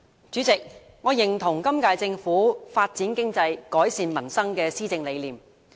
主席，我認同本屆政府"發展經濟，改善民生"的施政理念。